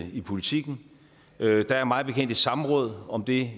i politiken der er mig bekendt et samråd om det